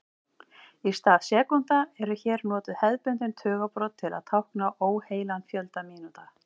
Í stað sekúndna eru hér notuð hefðbundin tugabrot til að tákna óheilan fjölda mínútna.